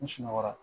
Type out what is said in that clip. N sunɔgɔ la